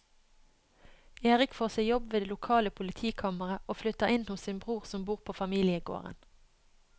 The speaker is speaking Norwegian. Erik får seg jobb ved det lokale politikammeret og flytter inn hos sin bror som bor på familiegården.